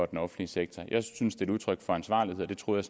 den offentlige sektor jeg synes det er udtryk for ansvarlighed og det troede